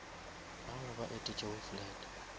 bao ba etetšego flat